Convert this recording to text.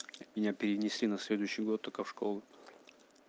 меня перенесли на следующий год только в школу